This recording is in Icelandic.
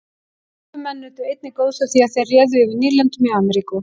Evrópumenn nutu einnig góðs af því að þeir réðu yfir nýlendum í Ameríku.